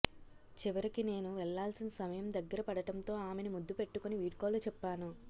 చివరికి నేను వెళ్లాల్సిన సమయం దగ్గరపడటంతో ఆమెని ముద్దు పెట్టుకొని వీడ్కోలు చెప్పాను